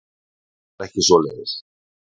Hann var ekki svoleiðis.